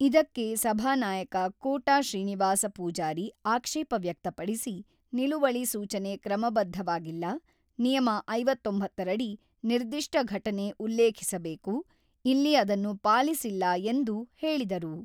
ಇದಕ್ಕೆ ಸಭಾನಾಯಕ ಕೋಟಾ ಶ್ರೀನಿವಾಸ ಪೂಜಾರಿ ಆಕ್ಷೇಪ ವ್ಯಕ್ತಪಡಿಸಿ, ನಿಲುವಳಿ ಸೂಚನೆ ಕ್ರಮಬದ್ಧವಾಗಿಲ್ಲ, ನಿಯಮ ಐವತ್ತೊಂಬತ್ತು ರಡಿ ನಿರ್ದಿಷ್ಟ ಘಟನೆ ಉಲ್ಲೇಖಿಸಬೇಕು, ಇಲ್ಲಿ ಅದನ್ನು ಪಾಲಿಸಿಲ್ಲ ಎಂದು ಹೇಳಿದರು.